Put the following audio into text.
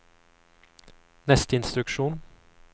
neste instruksjon